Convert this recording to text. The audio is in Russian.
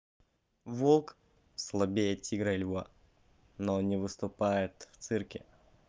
волк слабее тигра и льва но не выступает в цирке